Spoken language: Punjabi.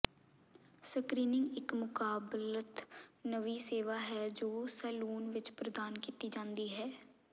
ਸਕ੍ਰੀਨਿੰਗ ਇੱਕ ਮੁਕਾਬਲਤ ਨਵੀਂ ਸੇਵਾ ਹੈ ਜੋ ਸੈਲੂਨ ਵਿੱਚ ਪ੍ਰਦਾਨ ਕੀਤੀ ਜਾਂਦੀ ਹੈ